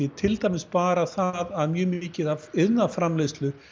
til dæmis bara það að mjög mikið af iðnaðarframleiðslu